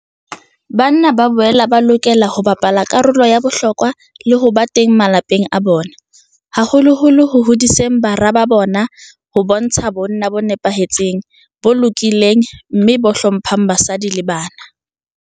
Banna ba boela ba lokela ho bapala karolo ya bohlokwa le ho ba teng malapeng a bona, haholoholo ho hodiseng bara ba bona ho bontsha bonna bo nepahetseng, bo lokileng mme bo hlo mphang basadi le bana.